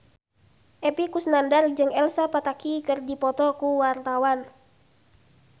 Epy Kusnandar jeung Elsa Pataky keur dipoto ku wartawan